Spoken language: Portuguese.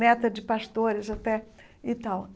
Neta de pastores até e tal.